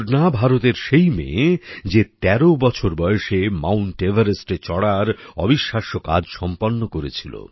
পূর্ণা ভারতের সেই মেয়ে যে ১৩ বছর বয়সে মাউন্ট এভারেস্টে চড়ার অবিশ্বাস্য কাজ সম্পন্ন করেছিল